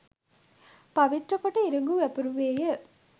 පවිත්‍ර කොට ඉරිඟු වැපිරුවේය.